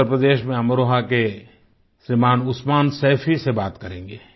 उत्तर प्रदेश में अमरोहा के श्रीमान् उस्मान सैफी से बात करेंगे